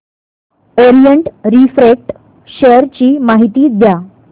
Orient refract share ची माहिती द्या